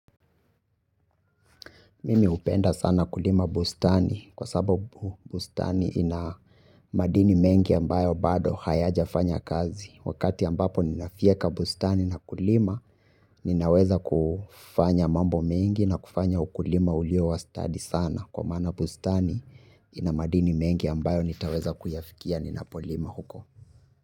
Mimi hupenda sana kulima bustani kwa sababu bustani ina madini mengi ambayo bado hayajafanya kazi. Wakati ambapo ninafyeka bustani na kulima ninaweza kufanya mambo mengi na kufanya ukulima ulio wastadi sana. Kwa maana bustani ina madini mengi ambayo nitaweza kuyafikia ninapolima huko.